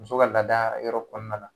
Muso ka laada yɔrɔ kɔnɔna na.